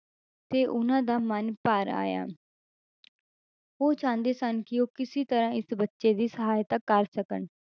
ਤੇ ਉਹਨਾਂ ਦਾ ਮਨ ਭਰ ਆਇਆ ਉਹ ਚਾਹੁੰਦੇ ਸਨ, ਕਿ ਉਹ ਕਿਸੇ ਤਰ੍ਹਾਂ ਇਸ ਬੱਚੇ ਦੀ ਸਹਾਇਤਾ ਕਰ ਸਕਣ,